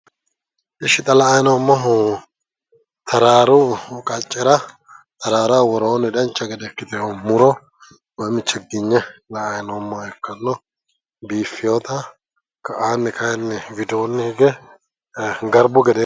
Ishi xa la"anni noommohu Tararu qaccera tararaho worooni dancha gede ikkite noo muro mannu chiginye la"anni noommoha ikkano biifetta ka"ani kayi widooni hige garbu gederi